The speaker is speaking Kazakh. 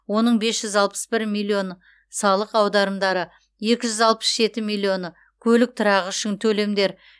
оның бес жүз алпыс бір миллионы салық аударымдары екі жүз алпыс жеті миллионы көлік тұрағы үшін төлемдер